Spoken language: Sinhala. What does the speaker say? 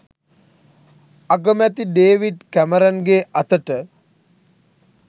අගමැති ඩේවිඩ් කැමරන්ගේ අතට